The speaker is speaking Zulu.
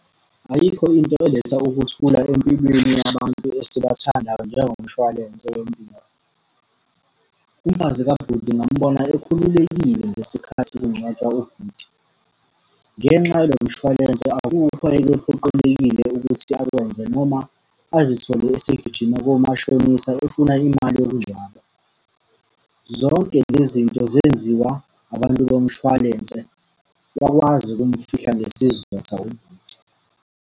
Ayikho into eletha ukuthula empilweni yabantu esibathandayo njengomshwalense wempilo. Umfazi kabhuti ngamubona ekhululekile ngesikhathi kungcwatshwa ubhuti. Ngenxa yalo mshwalense akukho ayekephoqelekile ukuthi akwenze noma azithole esegijima komashonisa efuna imali yokungcwaba. Zonke le zinto zenziwa abantu bomshwalense, wakwazi ukumfihla ngesizotha ubhuti.